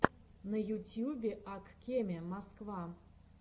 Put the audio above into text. на ютюбе ак кеме москва